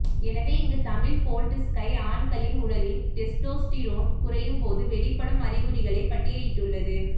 எனவே இங்கு Tamil Boldsky ஆண்களின் உடலில் டெஸ்டோஸ்டிரோன் குறையும் போது வெளிப்படும் அறிகுறிகளை பட்டியலிட்டுள்ளது